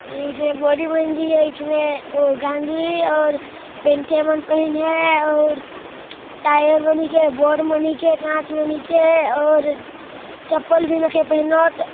ए जो बॉडी बन जही आइचमे ओ गाँजी और पेनथियाँ मन पहिन हे अउर टायर बनिके बोर्ड बनिके कांच बनिके अउर चप्पल भी नहीं के पहिनोत--